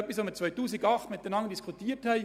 Das haben wir im Jahr 2008 miteinander diskutiert: